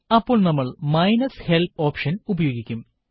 അപ്പോൾ നമ്മൾ minus help option ഉപയോഗിക്കും